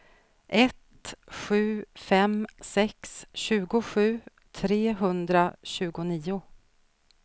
ett sju fem sex tjugosju trehundratjugonio